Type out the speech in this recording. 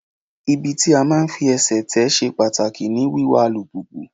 Ibi tí máa fi ẹsẹ̀ tè ṣe pàtàkì ní wiwa alùpùpù.